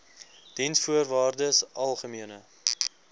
diensvoorwaardesalgemene